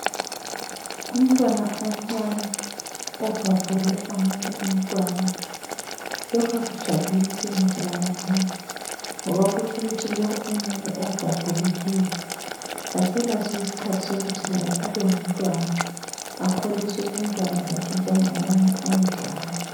Umntwana omncane obhabhule omunye umntwana. Lokhu akujabulisi ngitsho lakancane, ngoba kutsho ukuthi lowu omunye obhabhulileyo, akaselaso isikhathi sokuthi laye abengumntwana akholise ubuntwana bakhe njengabanye ayedlala.